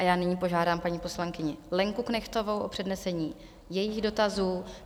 A já nyní požádám paní poslankyni Lenku Knechtovou o přednesení jejích dotazů.